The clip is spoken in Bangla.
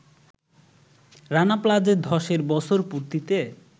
রানা প্লাজা ধসের বছর পূর্তিতে